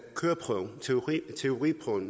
teoriprøven